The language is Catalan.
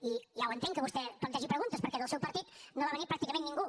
i ja ho entenc que vostè plantegi preguntes perquè del seu partit no va venir pràcticament ningú